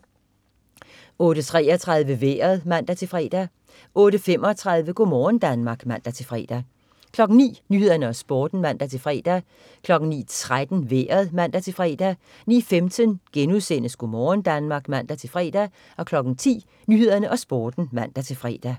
08.33 Vejret (man-fre) 08.35 Go' morgen Danmark (man-fre) 09.00 Nyhederne og Sporten (man-fre) 09.13 Vejret (man-fre) 09.15 Go' morgen Danmark* (man-fre) 10.00 Nyhederne og Sporten (man-fre)